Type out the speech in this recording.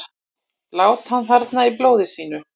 Lá hann þarna í blóði sínu?